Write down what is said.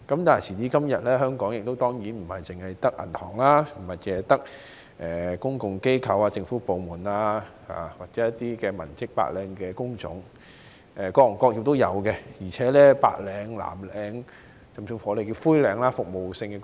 但是，時至今天，香港當然並非只有銀行、公共機構、政府部門或文職的白領工種，而是有各行各業，包括白領、藍領，甚至稱為"灰領"的服務性工作。